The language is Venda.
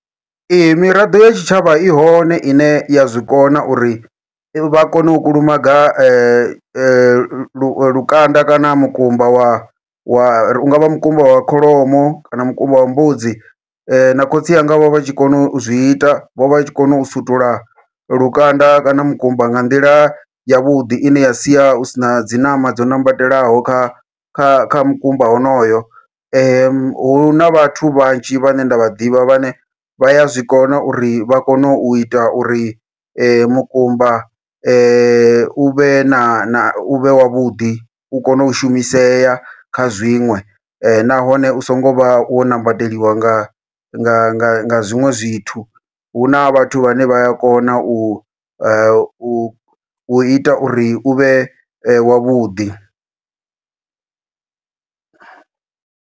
Ee, miraḓo ya tshitshavha i hone ine ya zwikona uri vha kone u kulumaga lu lukanda kana mukumba wa wa ungavha mukumba wa kholomo, kana mukumba wa mbudzi na khotsi anga vho vha tshi kona uzwi ita vho vha tshi kona u sutula lukanda kana mukumba nga nḓila yavhuḓi ine ya sia hu sina dzi ṋama dzo ṋambatelaho kha kha kha mukumba honoyo. Huna vhathu vhanzhi vhane nda vha ḓivha vhane vha ya zwikona uri vha kone uita uri mukumba uvhe na uvhe wavhuḓi u kone u shumisea kha zwiṅwe, nahone u songo vha wo ṋambateliwa nga nga zwiṅwe zwithu huna vhathu vhane vha ya kona u a u uita uri uvhe wavhuḓi.